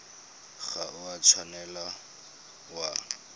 ga o a tshwanela wa